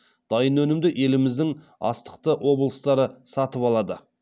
дайын өнімді еліміздің астықты облыстары сатып алады